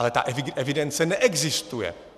Ale ta evidence neexistuje.